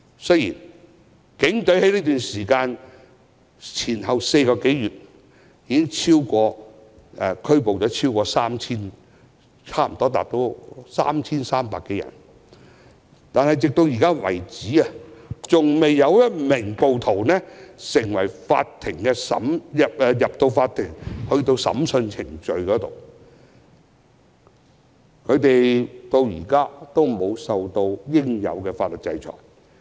雖然警隊在過去4個多月已前後拘捕了近 3,300 多人，但直至目前為止，依然未有任何有關的案件完成法庭審訊程序，未有任何一名暴徒受到應有的法律制裁。